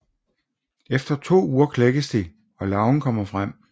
Efter to uger klækkes de og larven kommer frem